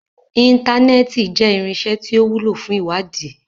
Intanẹẹti jẹ irinṣẹ ti o wulo fun iwadii